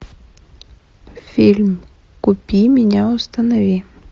фильм купи меня установи